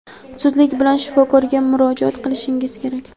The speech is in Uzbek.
zudlik bilan shifokorga murojaat qilishingiz kerak.